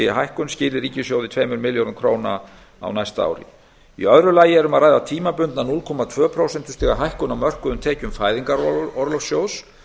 þessi hækkun skili ríkissjóði tveimur milljörðum króna á næsta ári í öðru lagi er um að ræða tímabundna núll komma tveggja prósentustiga hækkun á mörkuðum tekjum fæðingarorlofssjóðs